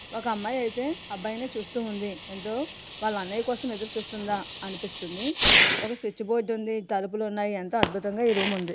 ఒక అమ్మాయి ఐతే ఒక అబ్బాయి ని చూస్తూ ఉంది.ఎంతో వాళ్ళ అన్నయ్య కోసం ఎదురుచూస్తుందా అనిపిస్తుంది. ఒక స్విచ్ బోర్డు ఉంది. తలుపులు ఉన్నాయి. ఎంతో అద్భుతంగా ఈ రూమ్ ఉంది.